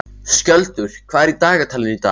Skjöldur, hvað er í dagatalinu í dag?